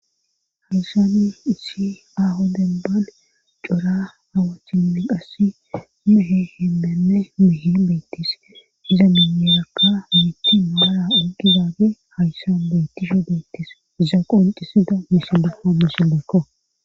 Hayssanni issi aho dembal cora awachinni qassi mehe himmeme mehe beittis iza minirakka mitti maara ogidaage hayssan beytisho beyttis iza qoncisida misidaha misi gekko.